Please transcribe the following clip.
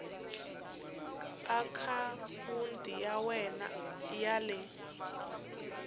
akhawunti ya wena ya le